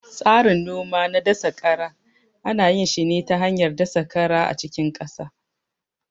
Tsarin noma na dasa kara ana yin shi ne ta hanyar dasa kara a cikin ƙasa